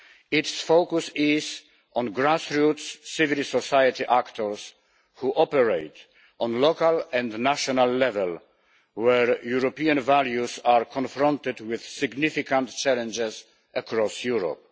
Its focus is on grassroots civil society actors who operate at local and national level, where European values are confronted with significant challenges across Europe.